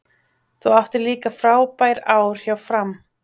Þú áttir líka frábær ár hjá Fram?